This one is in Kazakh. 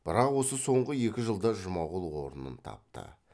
бірақ осы соңғы екі жылда жұмағұл орнын тапты